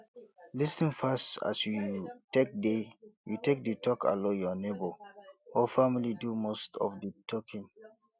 lis ten pass as you take dey you take dey talk allow your neigbour or family do most of di talking